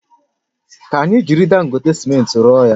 Ka anyi jiri Dangote simenti rụọ ya